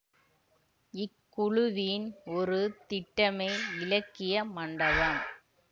இக்குழுவின் ஒரு திட்டமே இலக்கிய மண்டபம்